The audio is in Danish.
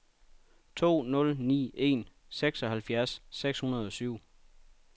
to nul ni en seksoghalvfjerds seks hundrede og syv